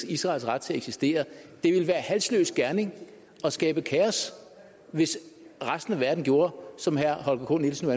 israels ret til at eksistere det ville være halsløs gerning og skabe kaos hvis resten af verden gjorde som herre holger k nielsen